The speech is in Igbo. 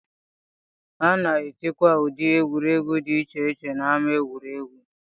A na-etikwa ụdị egwuregwu dị iche iche n'ámá egwuregwu